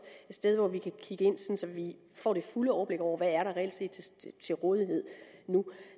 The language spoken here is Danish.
et sted hvor vi kan kigge ind så vi får det fulde overblik over hvad der reelt set er til rådighed nu